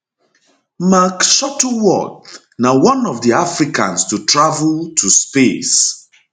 mark shuttleworth na one of di africans to travel to space